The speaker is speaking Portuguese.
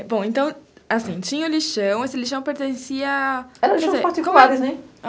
Bom, então, assim, tinha o lixão, esse lixão pertencia... Eram lixão particulares, né?